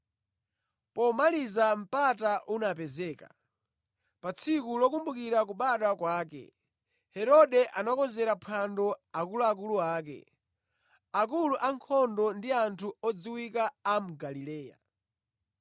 Pomaliza mpata unapezeka. Pa tsiku lokumbukira kubadwa kwake, Herode anakonzera phwando akuluakulu ake, akulu a ankhondo ndi anthu odziwika a mu Galileya.